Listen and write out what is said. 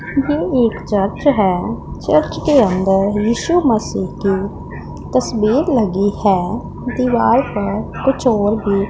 ये एक चर्च है चर्च के अंदर इशू मसीह की तस्वीर लगी है दीवाल पर कुछ और भी--